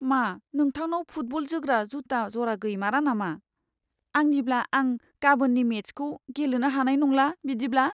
मा नोंथांनाव फुटबल जोग्रा जुता जरा गैमारा नामा? आंनिब्ला आं गाबोनननि मेचखौ गेलेनो हानाय नंला बिदिब्ला।